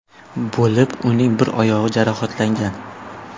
bo‘lib, uning bir oyog‘i jarohatlangan.